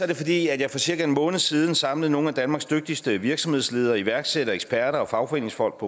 det fordi jeg for cirka en måned siden samlede nogle af danmarks dygtigste virksomhedsledere og iværksættere eksperter og fagforeningsfolk